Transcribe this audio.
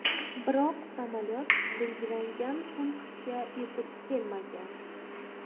Biroq samolyot belgilangan punktga yetib kelmagan.